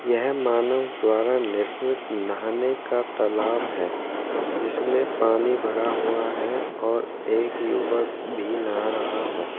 यह मानव द्वारा निर्मित नहाने का तालाब है जिसमें पानी भरा हुआ है और एक युवक भी नहा रहा है।